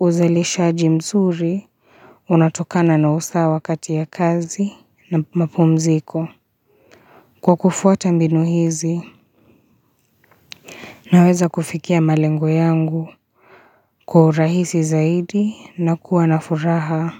Uzalisha jimsuri unatokana na usa wakati ya kazi na mapumziko Kwa kufuata mbinu hizi na weza kufikia malengo yangu Kwa rahisi zaidi na kuwanafuraha.